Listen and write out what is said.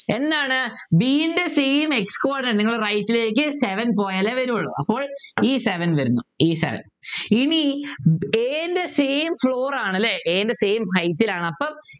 എന്താണ് b ൻ്റെ same explode നിങ്ങള് right ലേക്ക് seventy പോയാലെ വരുള്ളൂ അപ്പൊ ഈ seven വരുന്നു ഈ seven ഇനി a ൻ്റെ same floor ആണ് അല്ലെ a ൻ്റെ same height ആണ്അപ്പൊ